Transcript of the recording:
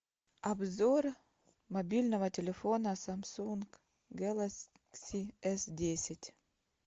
обзор мобильного телефона самсунг гэлакси эс десять